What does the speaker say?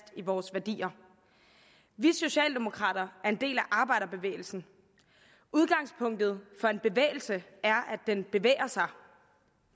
i vores værdier vi socialdemokrater er en del af arbejderbevægelsen udgangspunktet for en bevægelse er at den bevæger sig